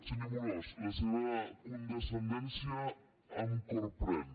senyor amorós la seva condescendència em corprèn